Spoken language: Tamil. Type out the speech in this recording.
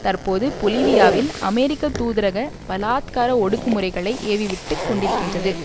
தற்போது பொலிவியாவில் அமெரிக்க தூதரக பலாத்கார ஒடுக்கு முறைகளை ஏவிவிட்டுக் கொண்டிருக்கின்றது